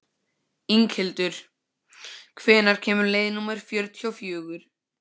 Inghildur, hvenær kemur leið númer fjörutíu og fjögur?